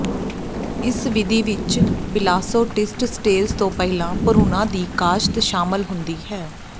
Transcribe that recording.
ਇਸ ਵਿਧੀ ਵਿੱਚ ਬਿਲਾਸੋਟਿਸਸਟ ਸਟੇਜ ਤੋਂ ਪਹਿਲਾਂ ਭਰੂਣਾਂ ਦੀ ਕਾਸ਼ਤ ਸ਼ਾਮਲ ਹੁੰਦੀ ਹੈ